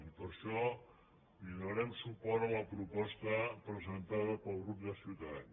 i per això donarem suport a la proposta presentada pel grup de ciutadans